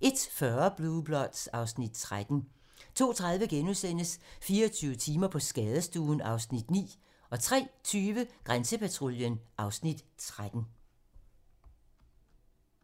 01:40: Blue Bloods (Afs. 13) 02:30: 24 timer på skadestuen (Afs. 9)* 03:20: Grænsepatruljen (Afs. 13)